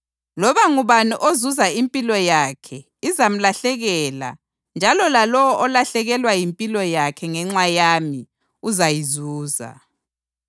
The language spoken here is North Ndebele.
Loba ngubani ozuza impilo yakhe izamlahlekela njalo lalowo olahlekelwa yimpilo yakhe ngenxa yami uzayizuza.